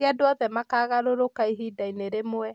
Ti andũ othe makaagarũrũka ihinda-inĩ rĩmwe.